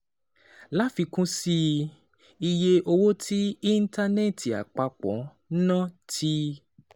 Láfikún sí i, iye owó tí íńtánẹ́ẹ̀tì àpapọ̀ ń ná ti